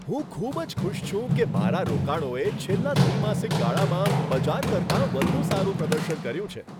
હું ખૂબ જ ખુશ છું કે મારા રોકાણોએ છેલ્લા ત્રિમાસિક ગાળામાં બજાર કરતાં વધુ સારું પ્રદર્શન કર્યું છે.